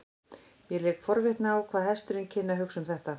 Mér lék forvitni á hvað hesturinn kynni að hugsa um þetta.